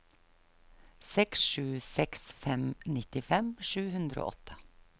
seks sju seks fem nittifem sju hundre og åtte